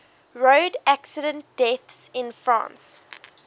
road accident deaths in france